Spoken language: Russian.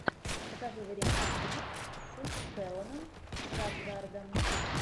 покажи варианты фильмов с стелланом скарсгардом